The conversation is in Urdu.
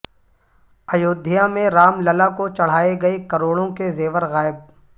ایودھیا میں رام للا کو چڑھائے گئے کروڑوں کے زیور غائب